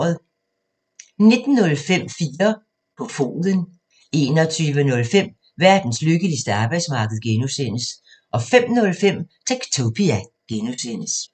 19:05: 4 på foden 21:05: Verdens lykkeligste arbejdsmarked (G) 05:05: Techtopia (G)